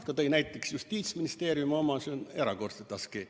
Ta tõi näiteks Justiitsministeerium eelarve, mis on erakordselt askeetlik.